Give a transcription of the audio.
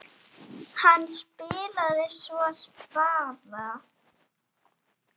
Hann spilaði svo spaða.